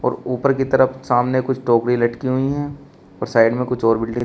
और ऊपर की तरफ सामने कुछ टोकरी लटकी हुई हैं और साइड में कुछ और बिल्डिंग --